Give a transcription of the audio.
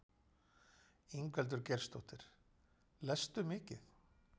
Ingveldur Geirsdóttir: Lestu mikið?